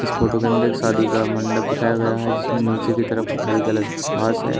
इस फोटो के अंदर शादी का मंडप दिखाया गया है जिसमें नीचे की तरफ हरी कलर की घास है।